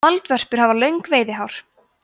moldvörpur hafa löng veiðihár